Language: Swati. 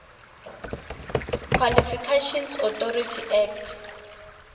qualifications authority act